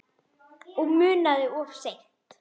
Og munað of seint.